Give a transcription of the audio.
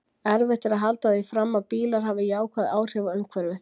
Erfitt er að halda því fram að bílar hafi jákvæð áhrif á umhverfið.